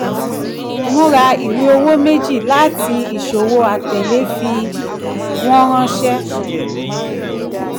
múra ìwé owó mẹ́jì láti ìṣòwò atẹ̀lé fi wọ́n ránsẹ́.